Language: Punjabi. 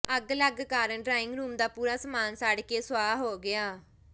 ਅੱਗ ਲੱਗਣ ਕਾਰਨ ਡਰਾਇੰਗ ਰੂਮ ਦਾ ਪੂਰਾ ਸਾਮਾਨ ਸੜ੍ਹ ਕੇ ਸੁਆਹ ਹੋ ਗਿਆ